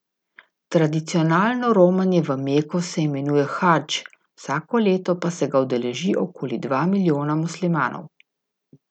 Tradicionalno romanje v Meko se imenuje hadž, vsako leto pa se ga udeleži okoli dva milijona muslimanov.